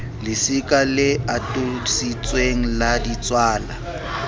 lesika le atolositsweng la ditswala